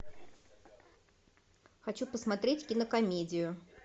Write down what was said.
хочу посмотреть кинокомедию